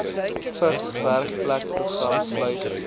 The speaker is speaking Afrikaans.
vigs werkplekprogram sluit